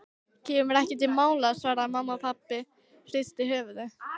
Kemur ekki til mála svaraði mamma og pabbi hristi höfuðið.